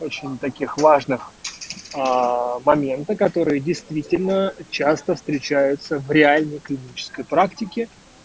очень таких важных момента которые действительно часто встречаются в реальной клинической практике